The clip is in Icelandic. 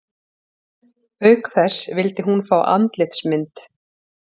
Auk þess vildi hún fá andlitsmynd